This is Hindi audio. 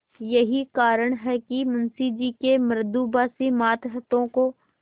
यही कारण है कि मुंशी जी के मृदुभाषी मातहतों को